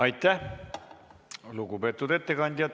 Aitäh, lugupeetud ettekandja!